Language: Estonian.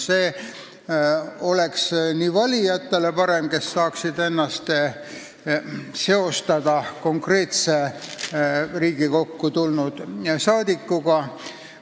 See oleks parem valijatele, kes saaksid ennast seostada konkreetse Riigikokku tulnud inimesega.